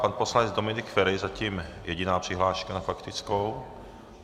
Pan poslanec Dominik Feri, zatím jediná přihláška na faktickou.